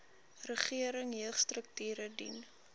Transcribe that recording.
regering jeugstrukture dien